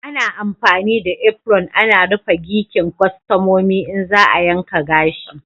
Ana amfani da apron ana rufe gikin kwastomomi in za a yanka gashi.